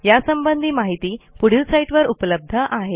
यासंबंधी माहिती या साईटवर उपलब्ध आहे